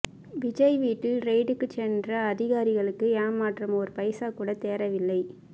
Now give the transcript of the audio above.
விஜய் வீட்டில் ரெய்டுக்கு சென்ற அதிகாரிகளுக்கு ஏமாற்றம் ஒரு பைசா கூட தேறவில்லை